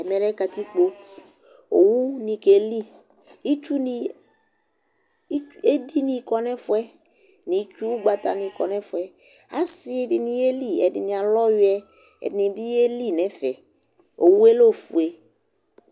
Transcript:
Ɛmɛ lɛ katikpo Owunɩ keli Itsunɩ itsu edini kɔ nʋ ɛfʋ yɛ nʋ ʋgbatanɩ kɔ nʋ ɛfʋ yɛ Asɩ dɩnɩ yeli Ɛdɩnɩ alʋ ɔyʋɛ Ɛdɩnɩ bɩ yeli nʋ ɛfɛ Owu yɛ lɛ ofue